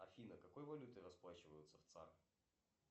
афина какой валютой расплачиваются в цар